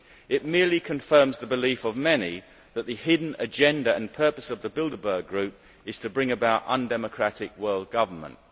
It merely confirms the belief of many that the hidden agenda and purpose of the Bilderberg Group is to bring about undemocratic world government.